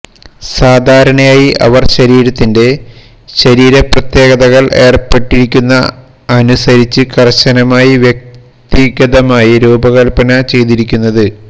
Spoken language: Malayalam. സാധാരണയായി അവർ ശരീരത്തിന്റെ ശരീര പ്രത്യേകതകൾ ഏർപ്പെട്ടിരിക്കുന്ന അനുസരിച്ച് കർശനമായി വ്യക്തിഗതമായി രൂപകൽപ്പന ചെയ്തിരിക്കുന്നത്